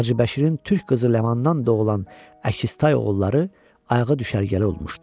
Hacıbəşirin türk qızı Ləmandan doğulan əkiz tay oğulları ayağı düşərgəli olmuşdu.